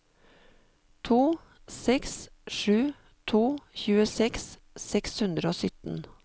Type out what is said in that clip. to seks sju to tjueseks seks hundre og sytten